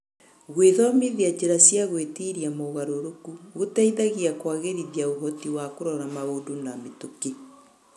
Gwĩthomithia njĩra cia gwĩtiria mogarũrũku gũteithagia kũagĩrithia ũhoti wa kũrora maũndũ ma mĩtũkĩ.